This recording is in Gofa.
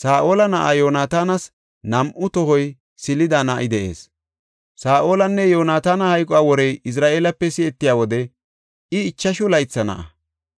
Saa7ola na7aa Yoonatanas nam7u tohoy silida na7i de7ees; Saa7olanne Yoonataana hayquwa worey Izra7eelepe si7etiya wode I ichashu laytha na7a.